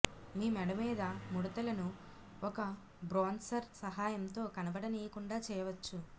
మీ మెడ మీద ముడుతల ను ఒక బ్రోన్సర్ సహాయంతో కనపడనీయకుండా చేయవచ్చు